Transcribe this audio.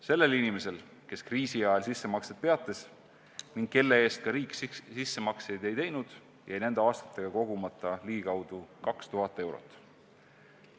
Sellel inimesel, kes kriisi ajal sissemaksed peatas ning kelle eest riik sissemakseid ei teinud, jäi nende aastatega kogumata ligikaudu 2000 eurot.